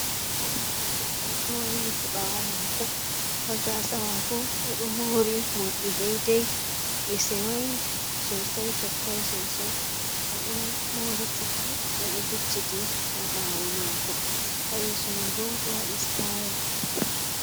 Ɓingel debbo ɗo wayliti ɓawo mako ha gasa mako oɗo mori morɗi deidei ɗi sewai sosai tekkai sosai, oɗo mori cuku oɗo vicciti ha bawo mako ha yeso mai bo oɗo waɗi stayel.